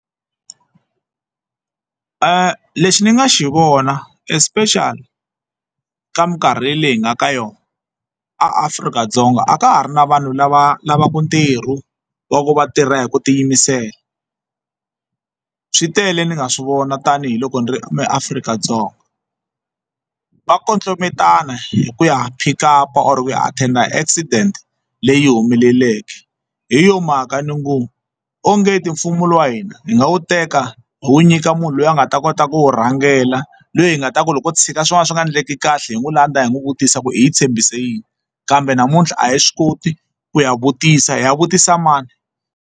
Lexi ni nga xi vona especially ka minkarhi leyi hi nga ka yona a Afrika-Dzonga a ka ha ri na vanhu lava lavaka ntirho wa ku va tirha hi ku tiyimisela swi tele ni nga swi vona tanihiloko ni ri eAfrika-Dzonga va kondlombetana hi ku ya pick up or ku ya attend accident leyi humeleleke hi yo mhaka ni ngo ongeti mfumo wa hina hi nga wu teka hi wu nyika munhu loyi a nga ta kota ku wu rhangela loyi hi nga ta ku loko wo tshika swin'wana swi nga endleki kahle hi n'wi landza hi n'wi vutisa ku hi tshembisi yini kambe namuntlha a hi swi koti ku ya vutisa hi ya vutisa mani.